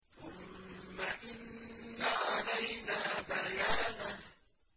ثُمَّ إِنَّ عَلَيْنَا بَيَانَهُ